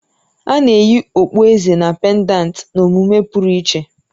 Ana eyi Okpueze na pèndanti na-emume pụrụ iche